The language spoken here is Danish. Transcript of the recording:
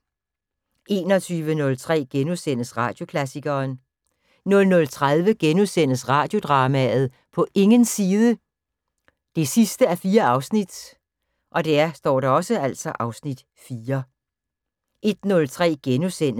21:03: Radioklassikeren * 00:30: Radiodrama: På ingens side 4:4 (Afs. 4)* 01:03: